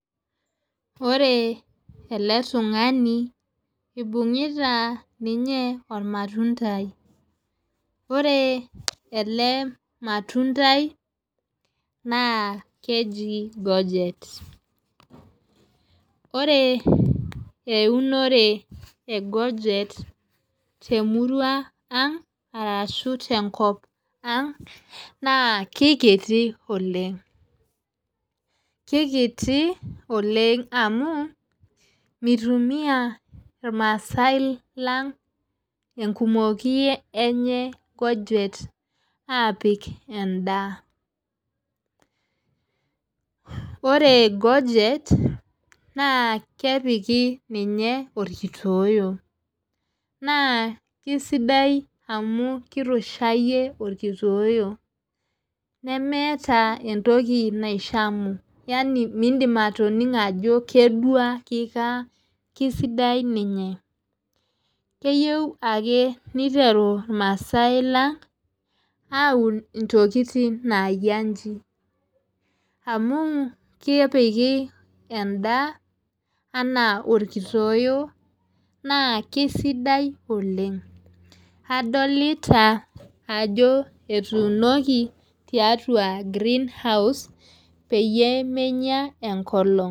Ore ele tungani ibung'ita ninye ilmatundai, ore ele matundai naa keji gojet ore eunore e gojet temurua ang' naa kikiti oleng. kikiti oleng. amu mitumiya irmaasae lang enkumoki enye gojet aapik edaa .ore gojet naa kepiki ninye olkitoyeyo .naa kisidai amu kirushayie olkitoyeyo. nemeeta entoki naishamu. yani miidim ataningo ajo keduaa kikaa, kisidai ninye keyieu ake niteru irmaasae lang aun ntokitin naayia iji. amj kepiki edaa. anaa olkitoyeyo naa kisidai oleng. adolita ajo etuunoki tiatua greenhouse peyie menya enkolong'.